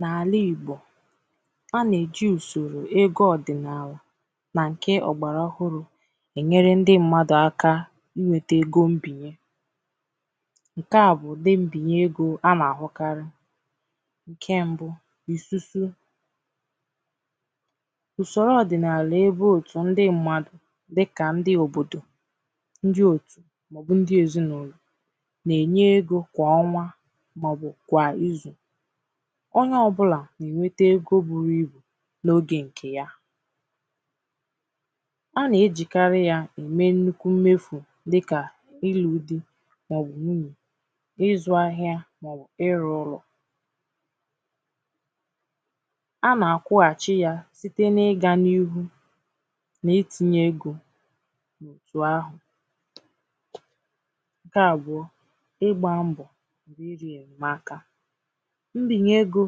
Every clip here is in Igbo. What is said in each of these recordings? N’àlà Ìgbò a nà-èji ùsòrò ego ọ̀dị̀nààlà nà ǹkè ọ̀gbàrà ọhụrụ̄ è nyere ndi mmadụ̀ aka inwēte ego mbìnye ǹkè a bụ̀ ùdi mbìnye egō a nà-àhụkarị ǹkè mbụ̄ ìsusu ùsòrò ọ̀dị̀nààlà ebe òtụ̀ ndi mmadụ̀ dịkà ndi òbòdò ndi òtù màọbụ̀ ndi èzinàụlọ̀ na-ènye egō kwà ọnwa màọbụ̀ kwà izù onye ọbụlà na-ènwete egō buru ibù n’ogè ǹkè ya a nà-ejìkàrị ya ème nnukwu mmefù dikà ilū di màọbụ̀ nwunyè ịzụ̄ ahịa màọbụ̀ ịrụ̄ ụlọ̀ a nà-àkwụhàchi ya site n’ịgā n’ihū n’itīnyē egō otù ahụ̀ ǹkè àbụọ ịgbā mbọ̀ n’irī ènyèmaka mbìnye egō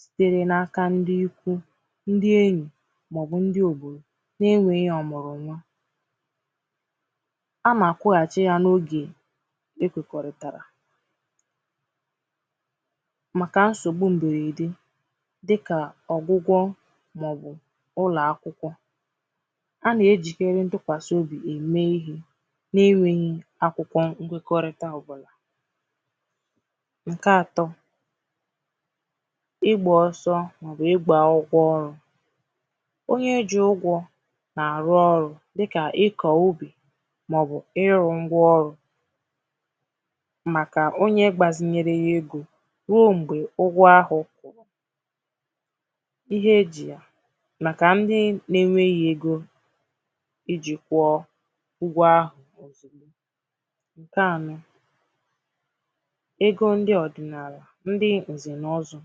sitere nà aka ndi iku, ndi enyì màọbụ̀ ndi òbòdò nà-ènweghī ọ̀mụ̀rụ̀ nwa a nà-àkwụhàchi ya n’ogè ekwèkọ̀rìtàrà màkà nsògbu m̀bèrède dikà ọ̀gwụgwọ màọbụ̀ ụlọ̀akwụkwọ a nà-ejìkèri ntụkwàsị obì ème ihē na-enwēghī akwụkwọ nkwekọrịta ọbụ̀là ǹkè atọ̄ igbā oso màọbụ̀ igbā ụgwọ ọrụ̄ onye ji ụgwọ̄ nà-àrụ ọrụ̄ dikà ikọ̀ ubī màọbụ̀ ịrụ̄ ngwa ọrụ̄ màkà onye gbazinyere ya egō ruo m̀gbè ụgwọ ahụ̀ kwụ̀rụ̀ ihe e jì ya màkà ndi nà-enwēghī ijī kwụọ ụgwọ ahụ̀ òzùgbo ǹkè anọ̄ egō ndi ọ̀dị̀naàlà ndi ǹzè nà ọzọ̄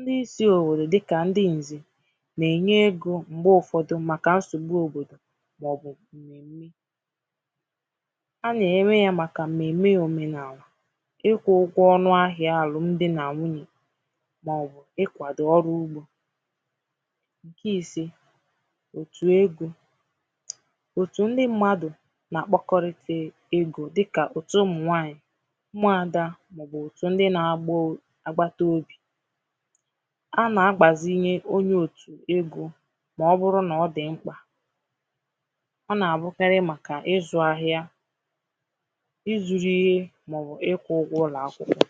ndi si òwèrè dikà ndi ǹzè nà-ènye egō m̀gbè ụfọ̄dụ̄ màkà nsògbu òbòdò màọbụ̀ m̀mèm̀mè a nà-ènyewa ya màkà m̀mèm̀mè òmenàalà ịkwụ̄ ụgwọ ọnụ ahịā àlụm di nà nwunyè màọbụ̀ ikwàdò ọrụ ugbō ǹkè isē òtù egō òtù ndi mmadụ̀ nà-àkpọkọrịta egō dikà òtù ụmụ̀nwanyị̀ ụmụ̀adā màọbụ̀ òtù ndi nà-agbata obì ha nà-àgbàzinye onye òtù egō màọbụrụ nà ọ dị̀ m̀kpà ọ nà-àbụkarị màkà ịzụ̄ ahịa ịzụ̄rụ̄ ihe màọbụ̀ ịkwụ̄ ụgwọ̄ ụlọ̀akwụkwọ